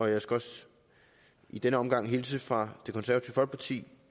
jeg skal også i denne omgang hilse fra det konservative